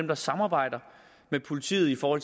der samarbejder med politiet for